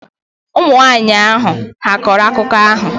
Ụmụ nwanyị ahụ hà a kọrọ akụkọ ahụ?